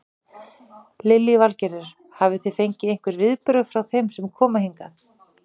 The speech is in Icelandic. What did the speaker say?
Lillý Valgerður: Hafi þið fengið einhver viðbrögð frá þeim sem koma hingað?